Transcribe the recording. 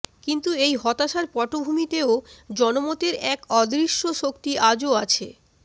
কিন্তু এই হতাশার পটভূমিতেও জনমতের এক অদৃশ্য শক্তি আজও আছে